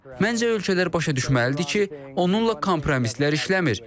Məncə ölkələr başa düşməlidir ki, onunla kompromislər işləmir.